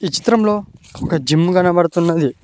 ఈ చిత్రంలో ఒక జిమ్ కనపడుతున్నది.